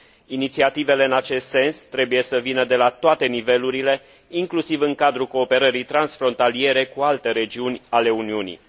Inițiativele în acest sens trebuie să vină de la toate nivelurile, inclusiv în cadrul cooperării transfrontaliere cu alte regiuni ale Uniunii.